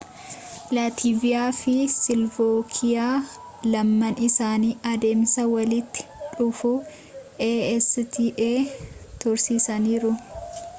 laativia fi silovaakiyaa lamaan isaanii adeemsa walitti dhufuu acta tursiisaniiru